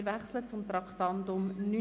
Wir wechseln zum Traktandum 79: